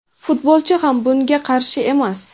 Futbolchi ham bunga qarshi emas;.